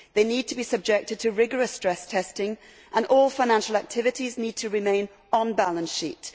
They need to be subjected to rigorous stress testing and all financial activities need to remain on the balance sheet.